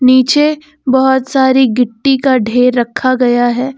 नीचे बहोत सारी गिट्टी का ढेर रखा गया है।